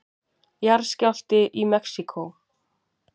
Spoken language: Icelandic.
Jarðskjálfti í Mexíkó